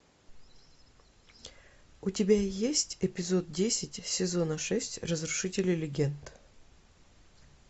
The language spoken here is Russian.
у тебя есть эпизод десять сезона шесть разрушители легенд